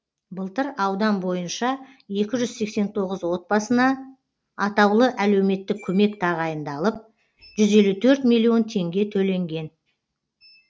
былтыр аудан бойынша екі жүз сексен тоғыз отбасына атаулы әлеуметтік көмек тағайындалып жүз елу төрт миллион теңге төленген